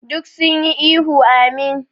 Duk sun yi ihu "Ameen".